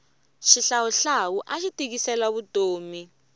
xihlawuhlawu axi tikisela vutomi